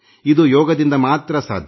ಇದು ಯೋಗದಿಂದ ಮಾತ್ರ ಸಾಧ್ಯ